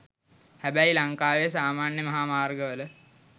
හැබැයි ලංකාවේ සාමාන්‍ය මහා මාර්ගවල